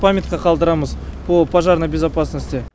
памятка қалдырамыз по пожарной безопасности